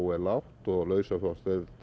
er lágt og lausafjárstaða